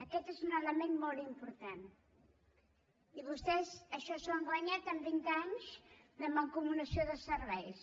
aquest és un element molt important i vostès això s’ho han guanyat amb vint anys de mancomunació de serveis